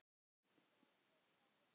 Það er tekið að hausta.